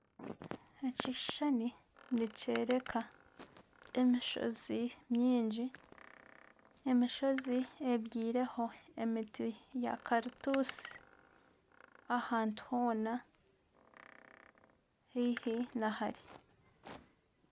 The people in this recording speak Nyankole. Ekishushani nikyoreka emishozi mingi emishozi ebyaireho emiti ya karitutsi abantu hoona haihi hamwe nana hare.